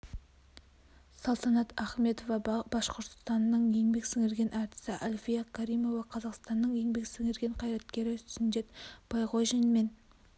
салтанат ахметова башқұртстанның еңбек сіңірген әртісі альфия каримова қазақстанның еңбек сіңірген қайраткерлері сүндет байғожин мен